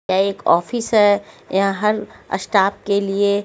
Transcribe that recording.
क्या एक ऑफिस है यहाँ हर स्टाफ के लिए--